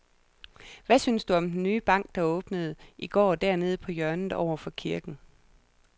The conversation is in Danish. Hvad synes du om den nye bank, der åbnede i går dernede på hjørnet over for kirken?